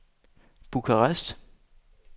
Bukarest